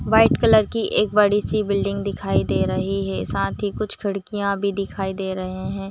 White colour की एक बड़ी सी बिल्डिंग दिखाई दे रही है साथ ही कुछ खिड़कियाँ भी दिखाई दे रहे है।